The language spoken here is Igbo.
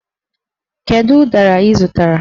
Kedu ụdara ị zụtara?